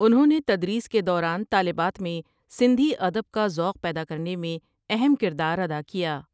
انہوں نے تدریس کے دوران طالبات میں سندھی ادب کا ذوق پیدا کرنے میں اہم کردار ادا کیا ۔